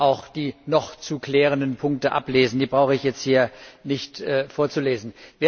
auch die noch zu klärenden Punkte ablesen, die brauche ich jetzt hier nicht vorzulesen.